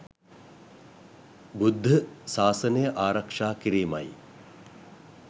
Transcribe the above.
බුද්ධ සාසනය ආරක්ෂා කිරීමයි.